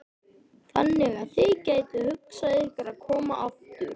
Þannig að þið gætuð hugsað ykkur að koma aftur?